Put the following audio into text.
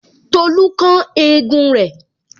Tolu kán egun rẹ